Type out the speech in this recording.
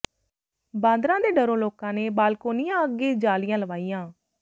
ਬਾਂਦਰਾਂ ਦੇ ਡਰੋਂ ਲੋਕਾਂ ਨੇ ਬਾਲਕੋਨੀਆਂ ਅੱਗੇ ਜਾਲੀਆਂ ਲਵਾਈਆਂ